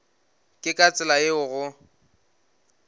ke ka tsela yeo go